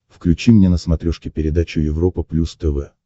включи мне на смотрешке передачу европа плюс тв